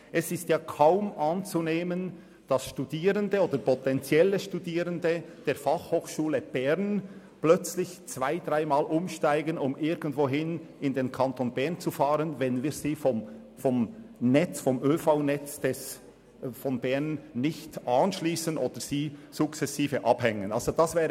Es ist kaum anzunehmen, dass Studierende oder potenziell Studierende der BFH plötzlich zwei- oder dreimal umsteigen werden, um irgendwohin in den Kanton Bern zu fahren, wenn sie nicht ans ÖV-Netz des Kantons angeschlossen beziehungsweise sukzessive davon abgehängt werden.